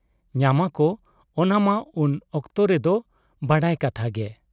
ᱧᱟᱢᱟ ᱠᱚ ᱚᱱᱟ ᱢᱟ ᱩᱱ ᱚᱠᱛᱚ ᱨᱮᱫᱚ ᱵᱟᱰᱟᱭ ᱠᱟᱛᱷᱟ ᱜᱮ ᱾